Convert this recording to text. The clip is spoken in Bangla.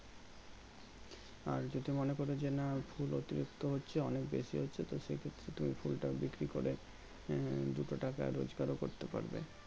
আর যদি মনে করি যে না ফুল অতিরিক্ত হচ্ছে অনেক বেশি হচ্ছে সেক্ষেত্রে তুমি ফুলটা বিক্রি করে আহ দুটো টাকা রোজকারও করতে পারবে